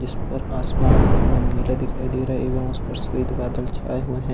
इस पर आसमान एकदम नीला दिखाई दे रहा है एवं उस श्वेत बादल छाए हुए हैं।